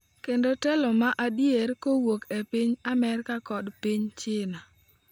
Kendo telo ma adier kowuok e piny Amerka kod piny China''.